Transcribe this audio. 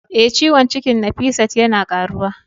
Eh, ciwon cikin Nafisat yana karuwa.